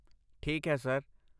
ਠੀਕ ਹੈ, ਸਰ।